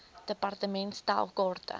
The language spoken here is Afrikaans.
department stel kaarte